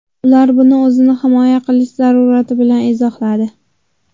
Ular buni o‘zini himoya qilish zarurati bilan izohladi.